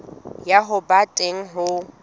ya ho ba teng ho